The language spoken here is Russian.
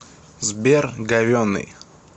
сбер говенный